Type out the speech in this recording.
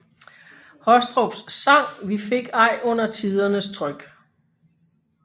Hostrups sang Vi fik ej under tidernes tryk